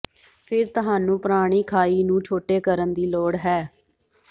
ਫਿਰ ਤੁਹਾਨੂੰ ਪੁਰਾਣੀ ਖਾਈ ਨੂੰ ਛੋਟੇ ਕਰਨ ਦੀ ਲੋੜ ਹੈ